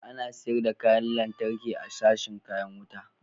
Ana sayar da kayan lantarki a sashin kayan wuta.